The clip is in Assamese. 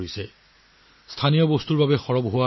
ভোকেল ফৰ লোকেলৰ ইয়াতকৈ উত্তম উদাহৰণ কি হ'ব পাৰে